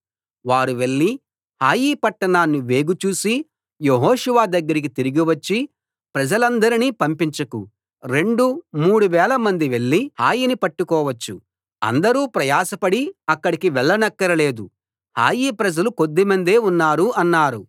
వారు వెళ్లి హాయి పట్టణాన్ని వేగు చూసి యెహోషువ దగ్గరికి తిరిగి వచ్చి ప్రజలందరినీ పంపించకు రెండు మూడు వేలమంది వెళ్లి హాయిని పట్టుకోవచ్చు అందరూ ప్రయాసపడి అక్కడికి వెళ్లనక్కరలేదు హాయి ప్రజలు కొద్దిమందే ఉన్నారు అన్నారు